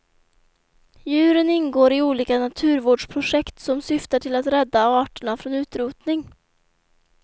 Djuren ingår i olika naturvårdsprojekt som syftar till att rädda arterna från utrotning.